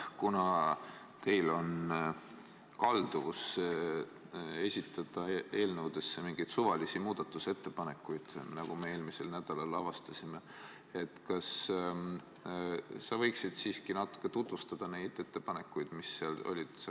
Kuna teil on kalduvus esitada eelnõudesse mingeid suvalisi muudatusettepanekuid, nagu me eelmisel nädalal avastasime, siis kas sa võiksid siiski natuke tutvustada neid ettepanekuid, mis seal olid?